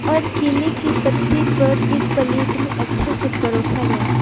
और केले की पत्ते पर एक प्लेट में अच्छे से परोसा गया --